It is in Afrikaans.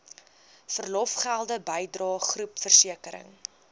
verlofgelde bydrae groepversekering